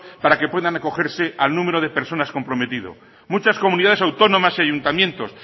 para que puedan acogerse al número de personas comprometido muchas comunidades autónomas y ayuntamientos